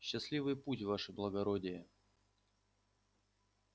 счастливый путь ваше благородие